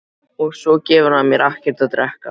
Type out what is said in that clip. Og svo gefur hann mér ekkert að drekka.